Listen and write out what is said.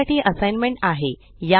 तुमच्यासाठी असाइनमेंट आहे